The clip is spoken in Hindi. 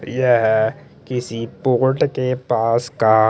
येह किसी पोर्ट के पास का --